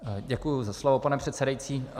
Děkuji za slovo, pane předsedající.